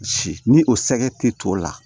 Ci ni o sɛgɛ tɛ to la